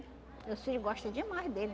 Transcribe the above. Meus filho gosta demais dele.